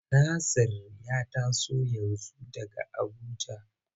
Nasir ya taso yanzu daga Abuja.